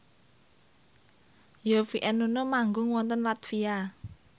Yovie and Nuno manggung wonten latvia